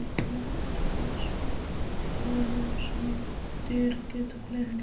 Nú er það svo, að ljósmyndir geta blekkt.